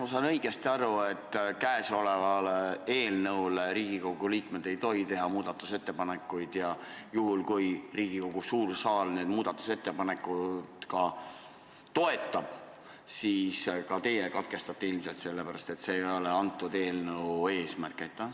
Kas ma saan õigesti aru, et käesoleva eelnõu kohta ei tohi Riigikogu liikmed teha muudatusettepanekuid ja kui Riigikogu suur saal neid muudatusettepanekuid ka toetaks, siis teie ilmselt katkestaksite lugemise, sest see ei ole eelnõu eesmärk?